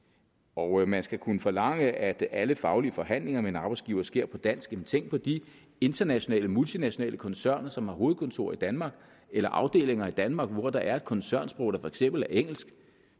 og at man skal kunne forlange at alle faglige forhandlinger med en arbejdsgiver sker på dansk men tænk på de internationale multinationale koncerner som har hovedkontor i danmark eller afdelinger i danmark hvor der er et koncernsprog der for eksempel er engelsk